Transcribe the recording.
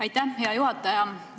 Aitäh, hea juhataja!